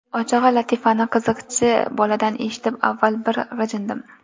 Ochig‘i, latifani qiziqchi boladan eshitib avval bir g‘ijindim.